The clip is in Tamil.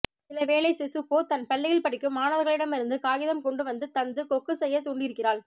சிலவேளை சிசுகோ தன் பள்ளியில் படிக்கும் மாணவர்களிடமிருந்து காகிதம் கொண்டு வந்து தந்து கொக்கு செய்யத் தூண்டியிருக்கிறாள்